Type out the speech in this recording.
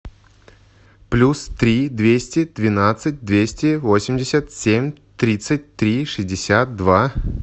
плюс три двести двенадцать двести восемьдесят семь тридцать три шестьдесят два